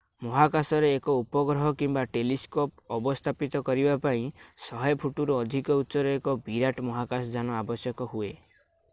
ମହାକାଶରେ ଏକ ଉପଗ୍ରହ କିମ୍ବା ଟେଲିସ୍କୋପ୍ ଅବସ୍ଥାପିତ କରିବା ପାଇଁ 100 ଫୁଟରୁ ଅଧିକ ଉଚ୍ଚର ଏକ ବିରାଟ ମହାକାଶଯାନ ଆବଶ୍ୟକ ହୁଏ